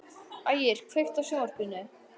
Ægir, kveiktu á sjónvarpinu.